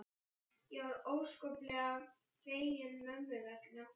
Ég var óskaplega fegin mömmu vegna.